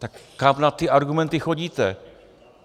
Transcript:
Tak kam na ty argumenty chodíte?